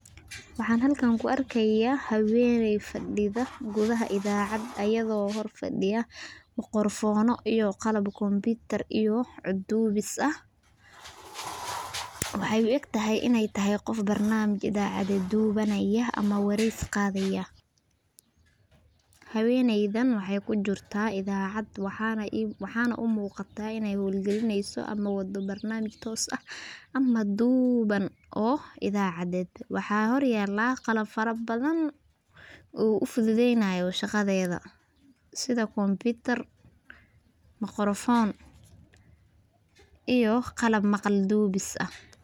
Waxa halkaan kuarkaya haweney fadida kudaxa cidacad ayado hor fadida macrofona iyo qalab Computer iyo wax cod duwisa, waxay uegtahay inay tahay qof barnamsish idacad duwanaya amax wareysi qadaya, Haweyneydan waxay kujirta idaacad waxana umuqata inay xool galineyso amax wado barnamsish toos aax ama duuwan idacaded waxa hor yaala qalab farabadan oo ufududeynayo shaqadeda sidaa Computer macrofon iyo qalab maqal duwisa aah.